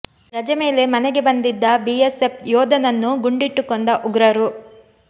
ರಜೆ ಮೇಲೆ ಮನೆಗೆ ಬಂದಿದ್ದ ಬಿಎಸ್ಎಫ್ ಯೋಧನನ್ನು ಗುಂಡಿಟ್ಟು ಕೊಂದ ಉಗ್ರರು